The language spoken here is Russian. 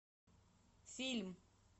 фильм